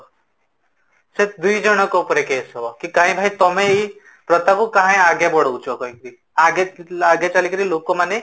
ସେ ଦିଜଣଙ୍କ ଉପରେ case ହବ କି କାହିଁ ଏଇ କଥାକୁ କାହିଁ ଆଗେ ବଢ଼ାଉଚ କାହିକି ଆଗେ ଆଗେ ଚାଲିକି ଲୋକ ମାନେ